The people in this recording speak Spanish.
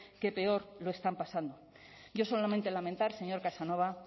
que peor lo están pasando yo solamente en lamentar señor casanova